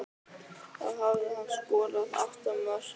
Þá hafði hann skorað átta mörk.